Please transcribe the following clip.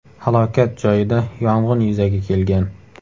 Halokat joyida yong‘in yuzaga kelgan.